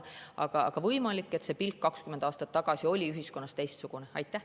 Aga võimalik, et 20 aastat tagasi oli ühiskonna pilk sellele teistsugune.